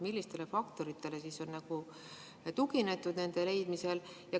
Millistele faktoritele on tuginetud nende leidmisel?